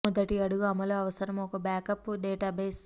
మొదటి అడుగు అమలు అవసరం ఒక బ్యాకప్ డేటాబేస్